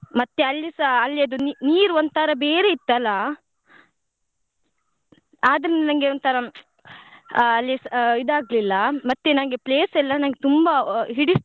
ಮತ್ತೆ ಅಲ್ಲಿಸ ಅಲ್ಲಿಯದ್ದು ನೀ~ ನೀರ್ ಒಂತರ ಬೇರೆ ಇತ್ತಲ್ಲ ಆದ್ರೂನೂ ನಂಗೆ ಒಂತರ ಆ ಅಲ್ಲಿಸ ಇದ್ ಆಗ್ಲಿಲ್ಲ ಮತ್ತೆ ನಂಗೆ place ಎಲ್ಲ ನಂಗೆ ತುಂಬಾ ಹಿಡಿಸ್ತು.